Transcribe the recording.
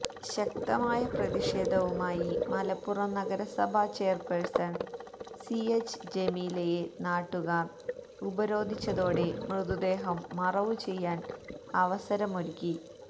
ശക്തമായ പ്രതിഷേധവുമായി മലപ്പുറം നഗരസഭാ ചെയര്പേഴ്സണ് സി എച്ച് ജമീലയെ നാട്ടുകാര് ഉപരോധിച്ചതോടെ മൃതദേഹം മറവു ചെയ്യാന് അവസരമൊരുക്കി